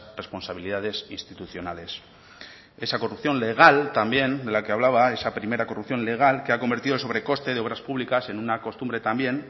responsabilidades institucionales esa corrupción legal también de la que hablaba esa primera corrupción legal que ha convertido sobrecoste de obras pública en una costumbre también